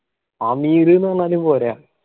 അമീറ് ന്ന് പറഞ്ഞ പോരാ